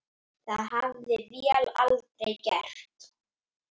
Það hefði vél aldrei gert.